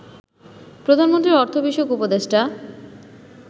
প্রধানমন্ত্রীর অর্থ বিষয়ক উপদেষ্টা